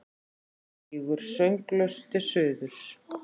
Flýgur sönglaus til suðurs.